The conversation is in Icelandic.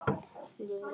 Lifrin var að bila.